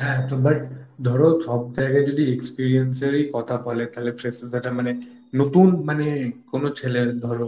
হ্যাঁ তো but, ধরো সব জায়গায় যদি experience এর ই কথা বলে তাহলে freshers রা মানে নতুন মানে কোন ছেলে ধরো,